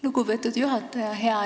Lugupeetud juhataja!